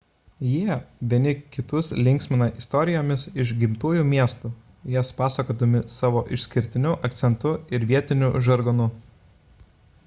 jie vieni kitus linksmina istorijomis iš gimtųjų miestų jas pasakodami savo išskirtiniu akcentu ir vietiniu žargonu